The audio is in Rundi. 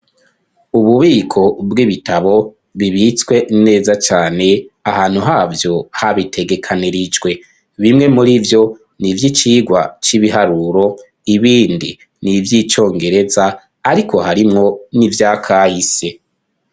Ububiko bw'ibitabo bibitswe neza cane ahantu havyo habitegekanirijwe; bimwe muri vyo ni ivy'icigwa c'ibiharuro ibindi ni ivy'icongereza ariko harimwo n'ivy'akahise.